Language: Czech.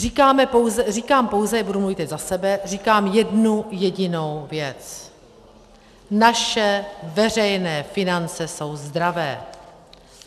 Říkám pouze - budu mluvit teď za sebe - říkám jednu jedinou věc: Naše veřejné finance jsou zdravé.